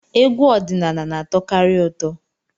Egwu ọdịnala na-atọkarị ụtọ.